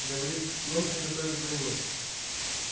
говорит немцы готовят войну